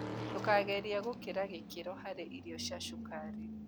Ndũkagerĩa gĩkĩra gĩkĩro harĩ irio cia cũkarĩ